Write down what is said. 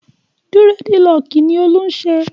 Dírẹ́dilọọkì ni Olú ń ṣe.